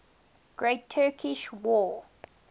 great turkish war